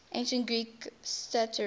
ancient greek satirists